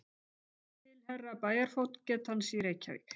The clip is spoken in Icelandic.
Til Herra Bæjarfógetans í Reykjavík